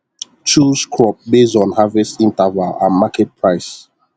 chose crop basd on harvest interval and market price